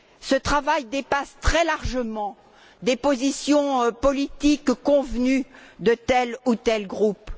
Ce travail dépasse très largement des positions politiques convenues de tel ou tel groupe.